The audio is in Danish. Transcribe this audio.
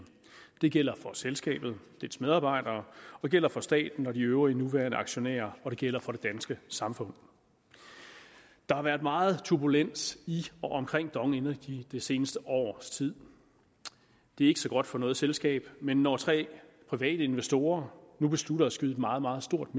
det gælder for selskabet og dets medarbejdere det gælder for staten og de øvrige nuværende aktionærer og det gælder for det danske samfund der har været meget turbulens i og omkring dong energy det seneste års tid det er ikke så godt for noget selskab men når tre private investorer nu beslutter at skyde et meget meget stort